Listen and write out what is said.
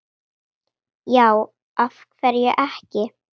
já af hverju ekki